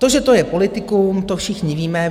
To, že to je politikum, to všichni víme.